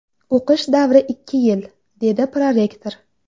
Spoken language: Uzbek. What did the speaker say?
O‘qish davri ikki yil”, dedi prorektor.